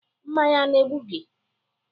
Mmanya ana-egbu gị?